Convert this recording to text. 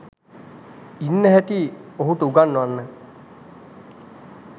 ඉන්න හැටි ඔහුට උගන්වන්න.